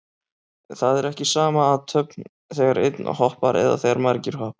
Það er ekki sama athöfn þegar einn hoppar eða þegar margir hoppa.